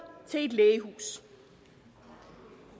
til et lægehus